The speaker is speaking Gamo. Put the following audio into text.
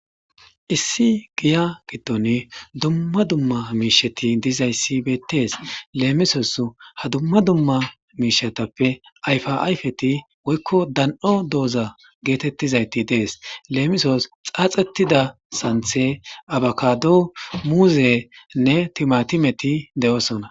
1 giya gidon dumma dumma mithat dizays betes , lemisos ha dummy mishatappe ayfa ayfet woyko dan'o diza getetizayt Des. Lemisos xaxetida santhe, abokado, timatimenne muzet dosona.